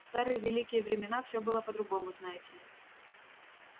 в старые великие времена всё было по-другому знаете ли